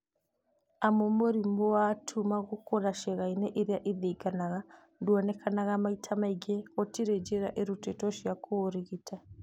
Amu mũrimũ wa tuma gũkũra ciĩga-inĩ irĩa ithiginaga nduonekaga maita maingĩ, gũtirĩ njĩra irutĩtwo cia kũũrigita